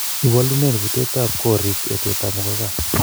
iwolunen butekab korik etekab muguka